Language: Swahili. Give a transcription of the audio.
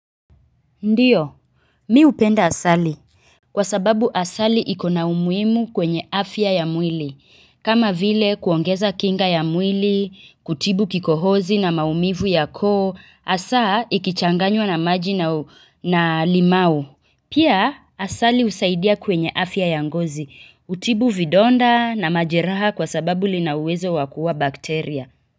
Ndiyo mi hupenda asali kwa sababu asali iko na umuhimu kwenye afya ya mwili kama vile kuongeza kinga ya mwili kutibu kikohozi na maumivu ya koo hasaa ikichanganywa na maji na limau pia asali husaidia kwenye afya ya ngozi hutibu vidonda na majeraha kwa sababu lina uwezo wa kuua bakteria kwa hivyo.